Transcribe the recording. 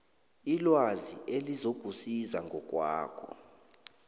ilwazi elizokusiza ngokwakho